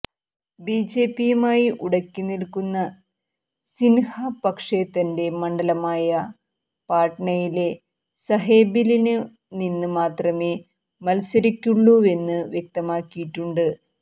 ബിജെപിയുമായി ഉടക്കി നില്ക്കുന്ന സിന്ഹ പക്ഷേ തന്റെ മണ്ഡലമായ പാട്നയിലെ സാഹേബില് നിന്ന് മാത്രമേ മത്സരിക്കുള്ളൂവെന്ന് വ്യക്തമാക്കിയിട്ടുണ്ട്